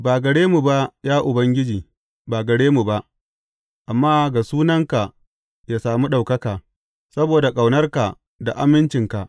Ba gare mu ba, ya Ubangiji, ba gare mu ba amma ga sunanka yă sami ɗaukaka, saboda ƙaunarka da amincinka.